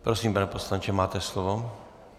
Prosím, pane poslanče, máte slovo.